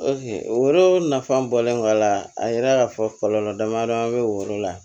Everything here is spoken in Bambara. nafa bɔlen kɔ a la a yira ka fɔ kɔlɔlɔ damadɔ bɛ o yɔrɔ la